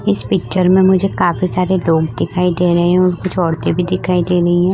इस पिक्चर में मुझे काफी सारे लोग दिखाई दे रहे हैं और कुछ औरतें भी दिखाई दे रही हैं।